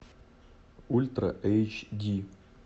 ультра эйч ди